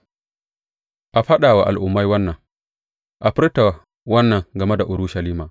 A faɗa wa al’ummai wannan, a furta wannan game Urushalima.